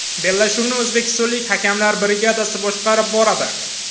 Bellashuvni o‘zbekistonlik hakamlar brigadasi boshqarib boradi.